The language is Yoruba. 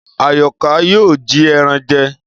Àyọ̀ká yóò jí ẹran jẹ